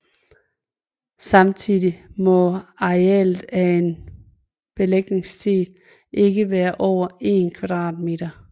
Samtidigt må arealtet af en belægningssten ikke være over 1 kvadratmeter